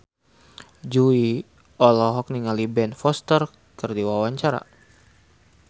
Jui olohok ningali Ben Foster keur diwawancara